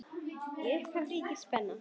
Í upphafi ríkir spenna.